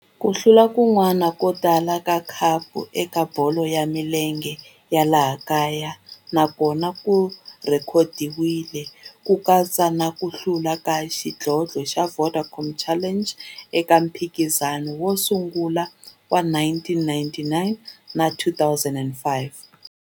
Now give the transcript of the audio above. Ku hlula kun'wana ko tala ka khapu eka bolo ya milenge ya laha kaya na kona ku rhekhodiwile, ku katsa na ku hlula ka xidlodlo xa Vodacom Challenge eka mphikizano wo sungula wa 1999 na 2005.